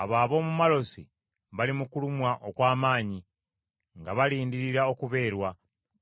Abo ab’omu Malosi bali mu kulumwa okw’amaanyi nga balindirira okubeerwa,